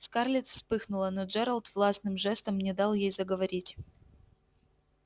скарлетт вспыхнула но джералд властным жестом не дал ей заговорить